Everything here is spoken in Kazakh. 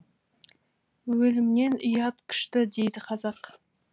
өлімнен ұят күшті дейді қазақ